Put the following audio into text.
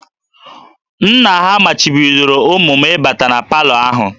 Nna ha machibidoro ụmụ m ịbata na palọ ahụ